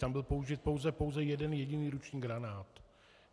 Tam byl použit pouze jeden jediný ruční granát.